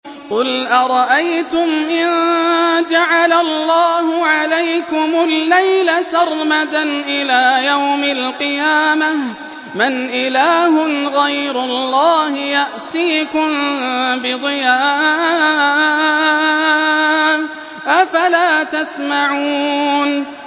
قُلْ أَرَأَيْتُمْ إِن جَعَلَ اللَّهُ عَلَيْكُمُ اللَّيْلَ سَرْمَدًا إِلَىٰ يَوْمِ الْقِيَامَةِ مَنْ إِلَٰهٌ غَيْرُ اللَّهِ يَأْتِيكُم بِضِيَاءٍ ۖ أَفَلَا تَسْمَعُونَ